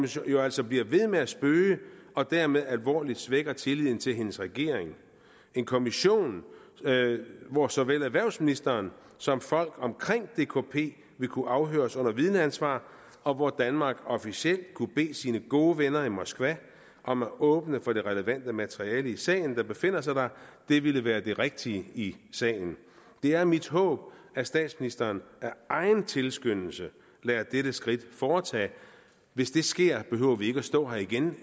som jo altså bliver ved med at spøge og dermed alvorligt svækker tilliden til hendes regering en kommission hvor såvel erhvervsministeren som folk omkring dkp vil kunne afhøres under vidneansvar og hvor danmark officielt kunne bede sine gode venner i moskva om at åbne for det relevante materiale i sagen der befinder sig der det ville være det rigtige i sagen det er mit håb at statsministeren af egen tilskyndelse lader dette skridt foretage hvis det sker behøver vi ikke at stå her igen